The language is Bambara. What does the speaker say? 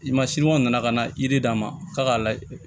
I ma siniwaw nana ka na yiri d'a ma k'a ka layɛ